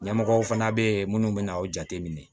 Ɲɛmɔgɔw fana bɛ yen minnu bɛ na aw jateminɛ